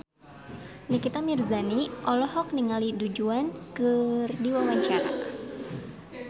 Nikita Mirzani olohok ningali Du Juan keur diwawancara